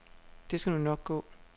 Det skal nu nok gå.